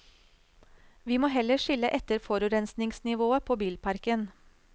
Vi må heller skille etter forurensningsnivået på bilparken.